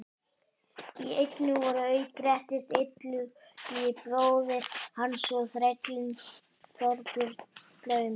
Í eynni voru auk Grettis, Illugi bróðir hans og þrællinn Þorbjörn glaumur.